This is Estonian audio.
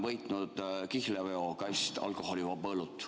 Võitsin kihlveoga kasti alkoholivaba õlut.